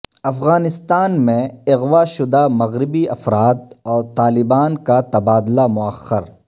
افغانستان میں اغواء شدہ مغربی افراد اور طالبان کا تبادلہ موخر